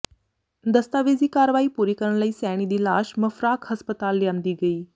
ਦਸਤਾਵੇਜ਼ੀ ਕਾਰਵਾਈ ਪੂਰੀ ਕਰਨ ਲਈ ਸੈਣੀ ਦੀ ਲਾਸ਼ ਮਫਰਾਕ ਹਸਪਤਾਲ ਲਿਆਂਦੀ ਗਈ